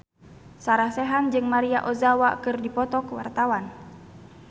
Sarah Sechan jeung Maria Ozawa keur dipoto ku wartawan